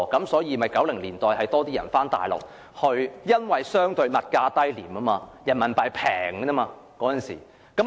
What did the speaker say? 所以 ，1990 年代很多人回內地居住，因為內地相對物價低廉，人民幣低水。